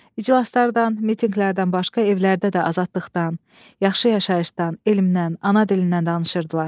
İclaslardan, mitinqlərdən başqa evlərdə də azadlıqdan, yaxşı yaşayışdan, elmdən, ana dilindən danışırdılar.